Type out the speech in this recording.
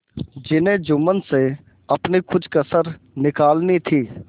जिन्हें जुम्मन से अपनी कुछ कसर निकालनी थी